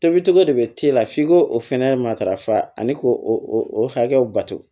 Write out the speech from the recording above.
Tobicogo de bɛ t'e la f'i k'o o fɛnɛ matarafa ani k'o hakɛw bato